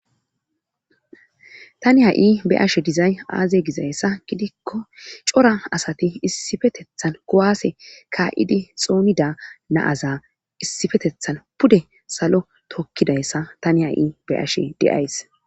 Tani ha7i be7ashe dizay aaze gizayssa gidikko cora asati issipetethan kuwaase kaa7idi xoonoda na7aza issipetethan pude salo tokkidayssa tani haui be7ashe de7ays.